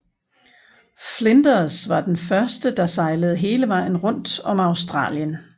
Flinders var den første der sejlede hele vejen rundt om Australien